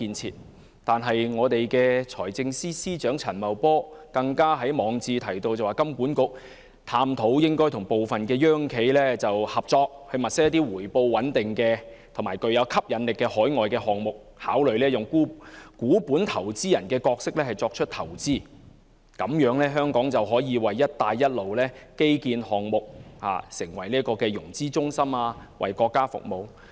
此外，財政司司長陳茂波更在網誌提到，香港金融管理局應探討與部分"央企"合作，物色一些回報穩定及具吸引力的海外項目，考慮以股本投資人的角色作出投資，讓香港可以成為"一帶一路"基建項目的融資中心，為國家服務。